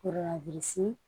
O la bisi